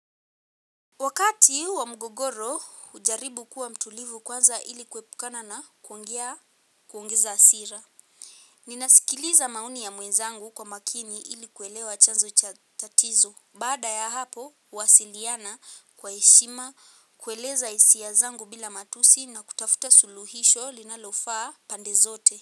Wakati wa mgogoro hujaribu kuwa mtulivu kwanza ili kuepukana na kuongea kuongeza hasira. Ninasikiliza maoni ya mwenzangu kwa makini ili kuelewa chanzo chatatizo. Baada ya hapo huwasiliana kwa heshima kueleza hisia zangu bila matusi na kutafuta suluhisho linalofaa pande zote.